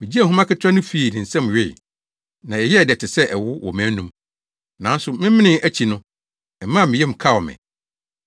Migyee nhoma ketewa no fii ne nsam wee, na ɛyɛɛ dɛ te sɛ ɛwo wɔ mʼanom. Nanso, memenee akyi no, ɛmaa me yam kaw me.